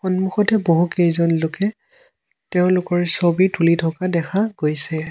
সন্মুখতে বহুকেইজন লোকে তেওঁলোকৰ ছবি তুলি থকা দেখা গৈছে।